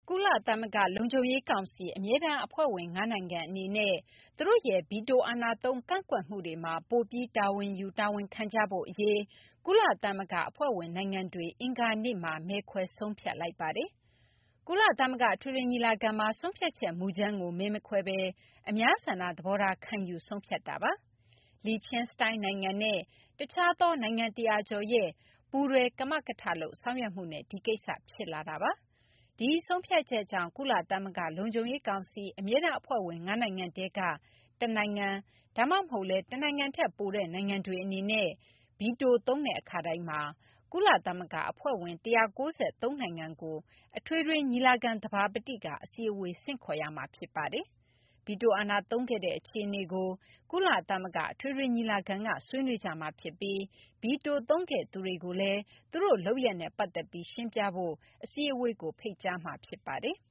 ကုလသမဂ္ဂ လုံခြုံရေးကောင်စီ အမြဲတမ်း အဖွဲ့ဝင် ၅ နိုင်ငံ အနေနဲ့ သူတို့ရဲ့ ဗီတိုအာဏာသုံး ကန့်ကွက်မှုတွေမှာ ပိုပြီး တာဝန်ယူ တာဝန်ခံကြဖို့ အရေး ကုလသမဂ္ဂ အဖွဲ့ဝင် နိုင်ငံတွေက အင်္ဂါနေ့မှာ မဲခွဲ ဆုံးဖြတ်လိုက်ပါတယ်။ ကုလသမဂ္ဂ အထွေထွေညီလာခံမှာ ဆုံးဖြတ်ချက် မူကြမ်းကို မဲမခွဲဘဲ အများဆန္ဒသဘောထား ခံယူပြီး ဆုံးဖြတ်ခဲ့တာပါ။ Liechtenstein နိုင်ငံနဲ့ တခြားသော နိုင်ငံ ၁၀၀ ကျော် ရဲ့ ပူးတွဲ ကမကထလုပ် ဆောင်ရွက်မှုနဲ့ ဒီကိစ္စ ဖြစ်လာတာပါ။ ဒီဆုံးဖြတ်ချက်ကြောင့် ကုလသမဂ္ဂ လုံခြုံရေးကောင်စီ အမြဲတမ်း အဖွဲ့ဝင် ၅ နိုင်ငံထဲက တနိုင်ငံ ဒါမှမဟုတ်လည်း တနိုင်ငံထက် ပိုတဲ့ နိုင်ငံတွေ အနေနဲ့ ဗီတိုသုံးတဲ့ အခါတိုင်းမှာ ကုလသမဂ္ဂ အဖွဲ့ဝင် ၁၉၃ နိုင်ငံကို အထွေထွေ ညီလာခံ သဘာပတိက အစည်းအဝေး ဆင့်ခေါ်ရမှာ ဖြစ်ပါတယ်။ ဗီတိုအာဏာ သုံးခဲ့တဲ့ အခြေအနေကို ကုလသမဂ္ဂ အထွေထွေ ညီလာခံက ဆွေးနွေးကြမှာ ဖြစ်ပြီး ဗီတို သုံးခဲ့သူတွေကိုလည်း သူတို့ လုပ်ရပ်နဲ့ ပတ်သက်ပြီး ရှင်းပြဖို့ အစည်းအဝေးကို ဖိတ်ကြားမှာ ဖြစ်ပါတယ်။